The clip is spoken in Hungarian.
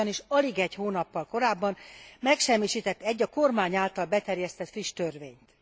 Az ugyanis alig egy hónappal korábban megsemmisített egy, a kormány által beterjesztett friss törvényt.